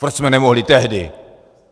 Proč jsme nemohli tehdy.